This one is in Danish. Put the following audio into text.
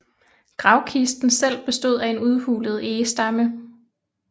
Gravkisten selv bestod af en udhulet egestamme